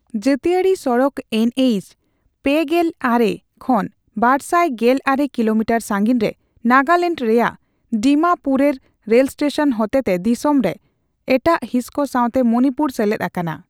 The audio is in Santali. ᱡᱟᱹᱛᱤᱭᱟᱨᱤ ᱥᱚᱲᱚᱠ ᱮᱱᱹᱮᱭᱤᱪᱼ᱓᱙ ᱠᱷᱚᱱ ᱵᱟᱨᱥᱟᱭ ᱜᱮᱞ ᱢᱚᱲᱮ ᱠᱤᱞᱳᱢᱤᱴᱟᱨ ᱥᱟᱹᱜᱤᱧ ᱨᱮ ᱱᱟᱜᱟᱞᱮᱱᱰ ᱨᱮᱭᱟᱜ ᱰᱤᱢᱟᱯᱩᱨᱮᱨ ᱨᱮᱞ ᱥᱴᱮᱥᱚᱱ ᱦᱚᱛᱮ ᱛᱮ ᱫᱤᱥᱚᱢ ᱨᱮ ᱮᱴᱟᱜ ᱦᱤᱸᱥ ᱠᱚ ᱥᱟᱶᱛᱮ ᱢᱚᱱᱤᱯᱩᱨ ᱥᱮᱞᱮᱫ ᱟᱠᱟᱱᱟ ᱾